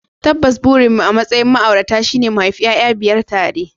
Tabbas burinmu a matsayin ma'aurata shine mu haifi 'ya'ya biyar tare